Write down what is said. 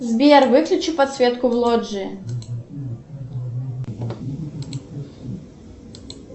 сбер выключи подсветку в лоджии